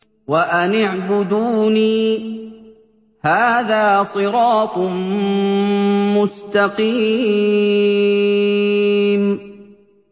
وَأَنِ اعْبُدُونِي ۚ هَٰذَا صِرَاطٌ مُّسْتَقِيمٌ